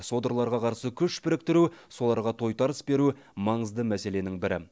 содырларға қарсы күш біріктіру соларға тойтарыс беру маңызды мәселенің бірі